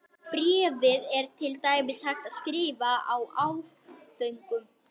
Bréfið er til dæmis hægt að skrifa í áföngum.